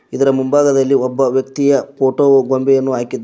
ಇದರ ಮುಂಭಾಗದಲ್ಲಿ ಒಬ್ಬ ವ್ಯಕ್ತಿಯ ಫೋಟೋ ಗೊಂಬೆಯನ್ನ ಹಾಕಿದ್ದಾರೆ.